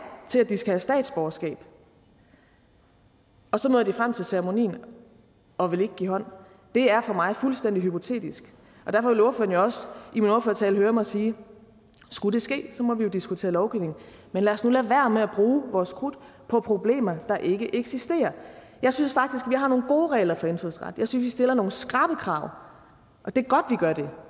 til at de skal have statsborgerskab og så når de frem til ceremonien og vil ikke give hånd det er for mig fuldstændig hypotetisk og derfor vil ordføreren jo også i min ordførertale høre mig sige skulle det ske må vi jo diskutere lovgivning men lad os nu lade være med at bruge vores krudt på problemer der ikke eksisterer jeg synes faktisk at vi har nogle gode regler for indfødsret jeg synes stiller nogle skrappe krav og det er